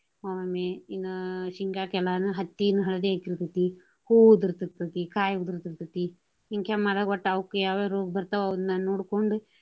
ಇನ್ನ ಶೇಂಗಾಕ ಎಲ್ಲಾನು ಹತ್ತಿನು ಹಳದಿ ಆಕ್ಕಿರ್ತೆತಿ. ಹೂವು ಉದರ್ತೈತಿ, ಕಾಯಿ ಉದರ್ತಿತೇತಿ, ಹಿಂಗ ಅವಕ್ಕ ಯಾವ ಯಾವ ರೋಗ ಬರ್ತಾವ ಅವ್ನ ನೋಡ್ಕೊಂಡು.